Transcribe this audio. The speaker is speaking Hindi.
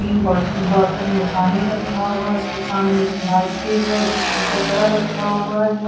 इन बोट बॉटल में पानी रखा हुआ उसके सामने बाल्टी है जिसमें कचडा रखा हुआ है।